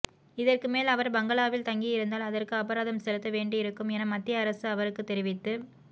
இதற்கு மேல் அவர் பங்களாவில் தங்கியிருந்தால் அதற்கு அபராதம் செலுத்த வேண்டியிருக்கும் என மத்திய அரசு அவருக்குத் தெரிவித்து